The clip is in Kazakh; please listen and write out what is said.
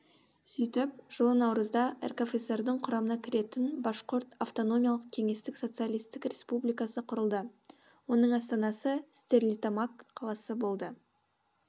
сөйтіп жылы наурызда ркфср дің құрамына кіретін башқұрт автономиялық кеңестік социалистік республикасы құрылды оның астанасы стерлитамак қаласы болды